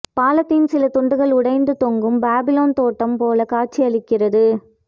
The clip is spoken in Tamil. பாலத்தின் சில தூண்கள் உடைந்து தொங்கும் பாபிலோன் தோட்டம் போல காட்சியளிக்கிறது